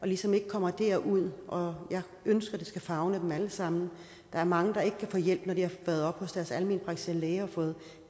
ligesom ikke kommer derud og jeg ønsker at det skal favne dem alle sammen der er mange der ikke kan få hjælp når de har været oppe hos deres almenpraktiserende læge og fået